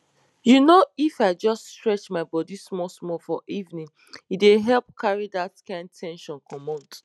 you know if i just stretch my body smallsmall for evening e dey help carry that kind ten sion commot